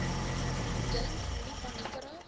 dink moenie paniekerig